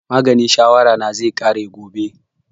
Maganin shawara na zai ƙare gobe